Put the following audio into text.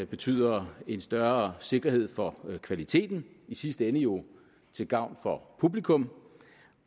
betyder en større sikkerhed for kvaliteten i sidste ende jo til gavn for publikum